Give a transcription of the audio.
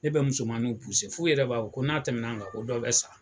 Ne bɛ musomabiw f'u yɛrɛ b'a fɔ ko n'a tɛmɛna nin kan ko dɔ bɛ sa.